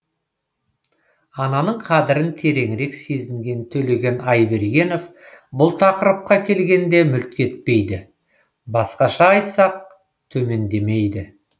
ананың қадірін тереңірек сезінген төлеген айбергенов бұл тақырыпқа келгенде мүлт кетпейді басқаша айтсақ төмендемейді